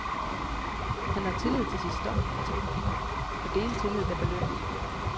Han har tillid til sit stof og til publikum, og det er en tillid, der belønnes.